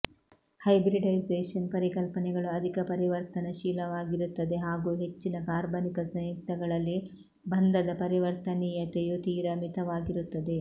hybridisation ಪರಿಕಲ್ಪನೆಗಳು ಅಧಿಕ ಪರಿವರ್ತನಶೀಲವಾಗಿರುತ್ತದೆ ಹಾಗೂ ಹೆಚ್ಚಿನ ಕಾರ್ಬನಿಕ ಸಂಯುಕ್ತಗಳಲ್ಲಿ ಬಂಧದ ಪರಿವರ್ತನೀಯತೆಯು ತೀರ ಮಿತವಾಗಿರುತ್ತದೆ